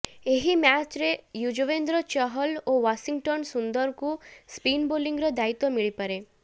ଏହି ମ୍ୟାଚରେ ଯୁଜବେନ୍ଦ୍ର ଚହଲ ଓ ୱାଶିଂଟନ ସୁନ୍ଦରଙ୍କୁ ସ୍ପିନ ବୋଲିଂର ଦାୟିତ୍ୱ ମିଳିପାରେ